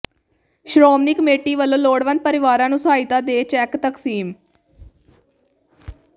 Shiromani committee ਵਲੋਂ ਲੋੜਵੰਦ ਪਰਿਵਾਰਾਂ ਨੂੰ ਸਹਾਇਤਾ ਦੇ ਚੈਕ ਤਕਸੀਮ